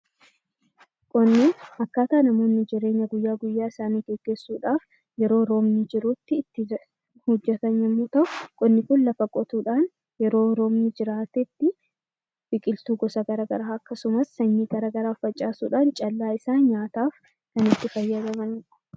Qonni akkaataa namoonni jireenya guyyaa guyyaa isaanii geggeessuu dhaaf yeroo roobni jiru tti hojjetan yommuu ta'u, qonni kun lafa qotuu dhaan yeroo roobni jiraate tti biqiltuu gosa garaa garaa akkasumas sanyii garaa garaa facaasuu dhaan callaa isaa nyaataaf kan itti fayyadamani dha.